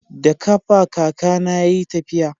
da kafa kaka na ya yi tafiya